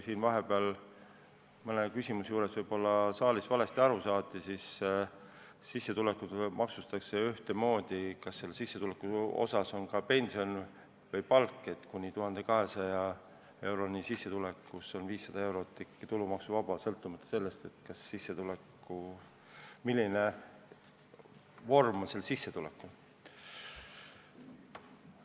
Siin vahepeal võidi saalis mõne küsimuse juures võib-olla asjast valesti aru saada, seetõttu ütlen, et sissetulekuid maksustatakse ühtemoodi, on selle sissetuleku sees siis pension või palk, kuni 1200-eurose sissetuleku puhul on 500 eurot ikkagi tulumaksuvaba, sõltumata sellest, milline on selle sissetuleku vorm.